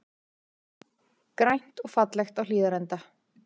Grænt og fallegt á Hlíðarenda